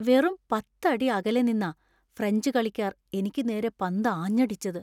വെറും പത്ത് അടി അകലെ നിന്നാ ഫ്രഞ്ച് കളിക്കാർ എനിക്ക് നേരെ പന്ത് ആഞ്ഞടിച്ചത്.